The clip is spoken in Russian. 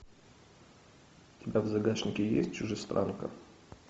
у тебя в загашнике есть чужестранка